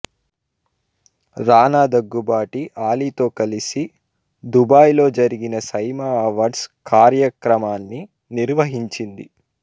రానా దగ్గుబాటి ఆలీతో కలిసి దుబాయ్ లో జరిగిన సైమా అవార్డ్స్ కార్యక్రమాన్ని నిర్వహించింది